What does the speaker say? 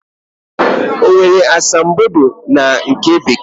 O nwere asambodo na nká Bekee?